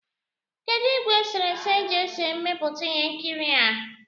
Kedụ ìgwè eserese e ji ese mmepụta ihe nkiri a?